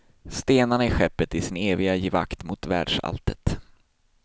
Stenarna i skeppet i sin eviga givakt mot världsalltet.